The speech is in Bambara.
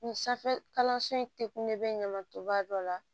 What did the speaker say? Nin sanfɛ kalanso in te kun ne bɛ ɲama to ba dɔ la